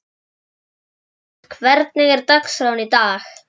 Alexis, hvernig er dagskráin í dag?